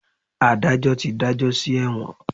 Adajọ ti dajọ si ẹwọn.